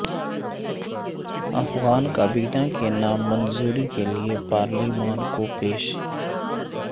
افغان کابینہ کے نام منظوری کے لیے پارلیمان کو پیش